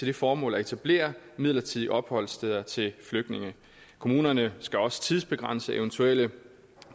det formål at etablere midlertidige opholdssteder til flygtninge kommunerne skal også tidsbegrænse eventuelle